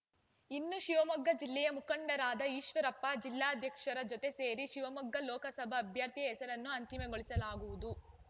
ಇನ್ನು ಶಿವಮೊಗ್ಗ ಜಿಲ್ಲೆಯ ಮುಖಂಡರಾದ ಈಶ್ವರಪ್ಪ ಜಿಲ್ಲಾಧ್ಯಕ್ಷರ ಜೊತೆ ಸೇರಿ ಶಿವಮೊಗ್ಗ ಲೋಕಸಭಾ ಅಭ್ಯರ್ಥಿಯ ಹೆಸರನ್ನು ಅಂತಿಮಗೊಳಿಸಲಾಗುವುದು